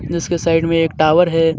जिसके साइड में एक टावर है।